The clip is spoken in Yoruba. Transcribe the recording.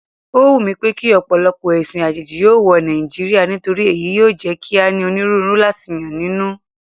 Ó wùmí pékí ọ̀pọ̀lọpọ̀ ẹ̀sìn àjèjì yóò wọ Nàìjíríà nítorí èyí yóò jẹ́ kí a ní onírúurú láti yàn nínú.